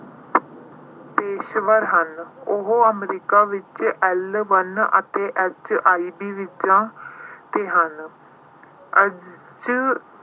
ਪੇਸ਼ੇਵਰ ਹਨ। ਉਹ America ਵਿੱਚ L one ਅਤੇ H oneB visa ਤੇ ਹਨ।